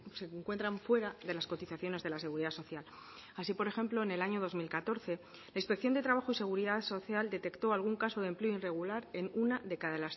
se encuentran fuera de las cotizaciones de la seguridad social así por ejemplo en el año dos mil catorce la inspección de trabajo y seguridad social detectó algún caso de empleo irregular en una de cada